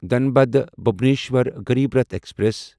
Dhanbad Bhubaneswar Garib Rath express